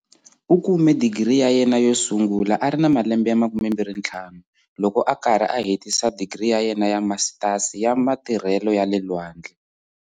U kume Digiri ya yena yo sungula a ri na malembe ya 25, loko a karhi a hetisa digiri ya yena ya Masitasi ya Matirhelo ya le Lwandle.